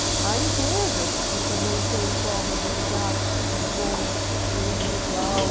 Há empresas que também têm formas de lidar com o individual.